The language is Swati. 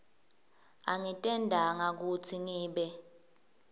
angitentanga kutsi ngibe